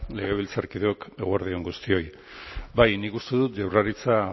legebiltzarkideok eguerdi on guztioi bai nik uste dut jaurlaritza